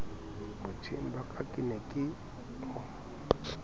botjheng ba ka ke ne